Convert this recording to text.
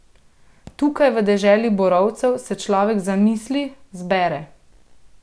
Tukaj, v deželi borovcev, se človek zamisli, zbere.